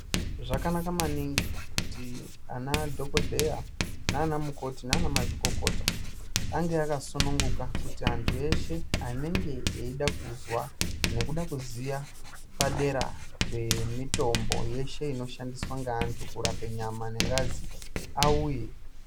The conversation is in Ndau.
Zvakanaka maningi kuti ana dhokodheya nana mazvikokota ange akasununguka kuti antu eshe anenge eida kuzwa nekuda kuziya padera pemitombo yeshe inoshandiswa ngeantu kurape nyama nengazi auye.